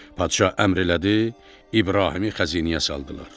Padşah əmr elədi, İbrahimi xəzinəyə saldırdılar.